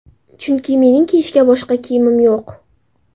Chunki, mening kiyishga boshqa kiyimim yo‘q.